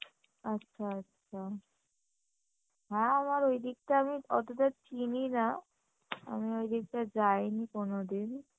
আচ্ছা আচ্ছা হ্যাঁ আবার ঐদিকটা আমি অতোটা চিনি না আমি ঐদিকটা যায়নি কোনোদিন